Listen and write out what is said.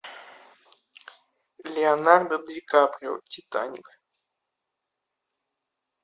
леонардо ди каприо титаник